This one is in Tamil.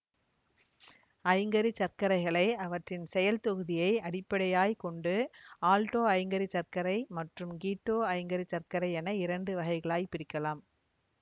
ஐங்கரிச்சர்க்கரைகளை அவற்றின் செயல் தொகுதியை அடிப்படையாய்க் கொண்டு ஆல்டோ ஐங்கரி சர்க்கரை மற்றும் கீட்டோ ஐங்கரி சர்க்கரை என இரண்டு வகைகளாய்ப்பிரிக்கலாம்